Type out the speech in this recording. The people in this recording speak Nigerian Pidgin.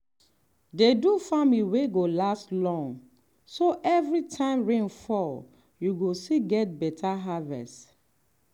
dey do farming wey go last long so every time rain fall you go still get beta harvest.